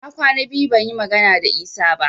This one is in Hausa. Na kwana biyu ban yi magana da Isa ba